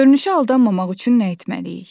Görünüşə aldanmamaq üçün nə etməliyik?